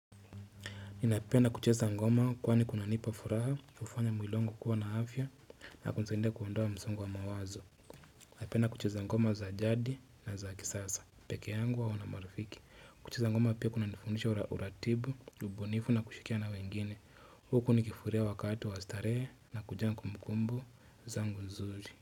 Ninapenda kucheza ngoma kwani kunanipa furaha, hufanya mwili wangu kuwa na afya na kusaidia kuondoa msongo wa mawazo. Napenda kucheza ngoma za jadi na za kisasa. Peke yangu au na marafiki. Kucheza ngoma pia kunanifundisha uratibu, ubunifu na kushirikiana wengine. Huku nikifuria wakati wa starehe nakujaa kumbukumbu zangu nzuri.